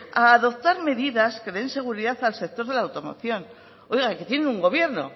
a adoptar medidas que den seguridad al sector de la automoción oiga que tienen un gobierno